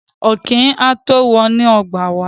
Ọ̀kín á tó wọ inú ọgbà wá.